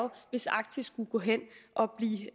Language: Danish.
hvis arktis skulle gå hen og blive